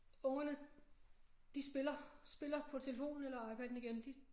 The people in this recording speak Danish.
Ungerne de spiller spiller på telefonen eller iPaden igen de